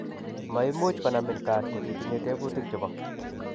Maimuch konamin GARD ko ti tinye tebutik chebo